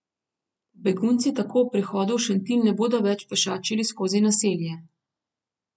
Begunci tako ob prihodu v Šentilj ne bodo več pešačili skozi naselje.